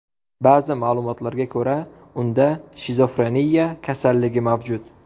Ba’zi ma’lumotlarga ko‘ra, unda shizofreniya kasalligi mavjud.